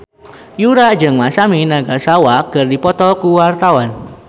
Yura jeung Masami Nagasawa keur dipoto ku wartawan